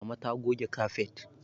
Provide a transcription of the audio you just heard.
Mama ta goge kafet